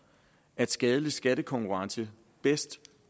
at skadelig skattekonkurrence bedst